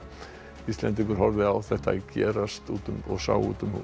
Íslendingur horfði á þetta gerast út um út um